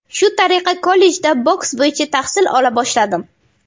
Shu tariqa kollejda boks bo‘yicha tahsil ola boshladim.